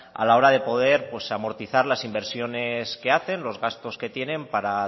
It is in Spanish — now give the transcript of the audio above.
a la hora de poder amortizar las inversiones que hacen los gastos que tienen para